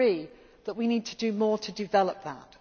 these months. We agree that we need to do more to